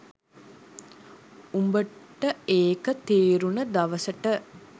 උඹට ඒක තේරුණ දවසට